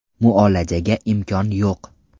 Muolajaga imkonim yo‘q.